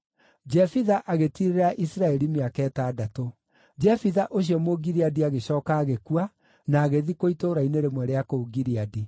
Jefitha agĩtiirĩrĩra Isiraeli mĩaka ĩtandatũ. Jefitha ũcio Mũgileadi agĩcooka agĩkua, na agĩthikwo itũũra-inĩ rĩmwe rĩa kũu Gileadi.